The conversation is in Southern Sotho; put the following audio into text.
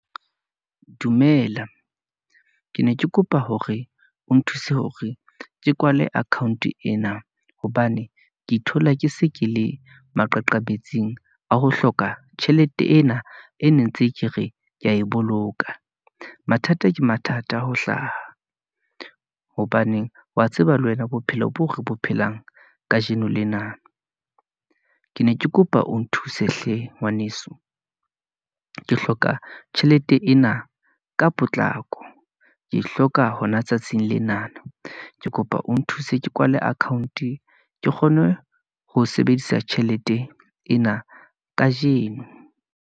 Dumela, ke ne ke kopa hore o nthuse hore ke kwale account-e ena, hobane ke ithola, ke se ke le maqaqabetsing a ho hloka tjhelete ena, e ne ntse ke re, kea e boloka. Mathata ke mathata ho hlaha, hobaneng wa tseba le wena bophelo boo re bo phelang kajeno lena, ke ne ke kopa o nthuse hle ngwaneso. Ke hloka tjhelete ena ka potlako, ke e hloka hona tsatsing lena, ke kopa o nthuse ke kwale account-e ke kgone ho sebedisa tjhelete ena kajeno.